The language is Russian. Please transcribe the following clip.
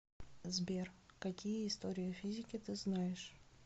сбер какие история физики ты знаешь